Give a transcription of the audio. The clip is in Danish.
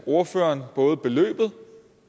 ordføreren både beløbet